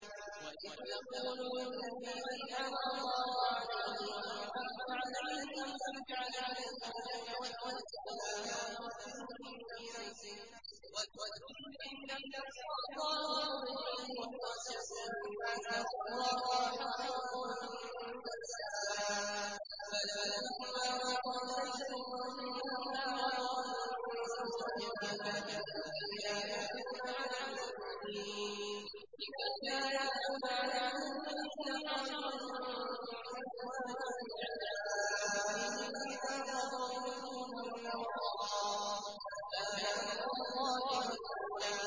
وَإِذْ تَقُولُ لِلَّذِي أَنْعَمَ اللَّهُ عَلَيْهِ وَأَنْعَمْتَ عَلَيْهِ أَمْسِكْ عَلَيْكَ زَوْجَكَ وَاتَّقِ اللَّهَ وَتُخْفِي فِي نَفْسِكَ مَا اللَّهُ مُبْدِيهِ وَتَخْشَى النَّاسَ وَاللَّهُ أَحَقُّ أَن تَخْشَاهُ ۖ فَلَمَّا قَضَىٰ زَيْدٌ مِّنْهَا وَطَرًا زَوَّجْنَاكَهَا لِكَيْ لَا يَكُونَ عَلَى الْمُؤْمِنِينَ حَرَجٌ فِي أَزْوَاجِ أَدْعِيَائِهِمْ إِذَا قَضَوْا مِنْهُنَّ وَطَرًا ۚ وَكَانَ أَمْرُ اللَّهِ مَفْعُولًا